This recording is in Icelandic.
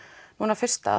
núna fyrsta